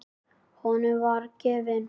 Honum voru gefin lyf.